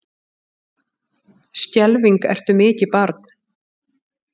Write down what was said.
Skelfing ertu mikið barn.